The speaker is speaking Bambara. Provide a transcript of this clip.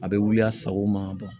A bɛ wuli a sago ma